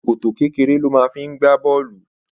Ṣòkòtò kékeré ló máa ń gbé bọ̀ọ̀lù